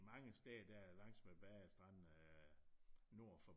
Mange steder der langs med badestranden øh nord for